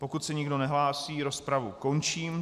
Pokud se nikdo nehlásí, rozpravu končím.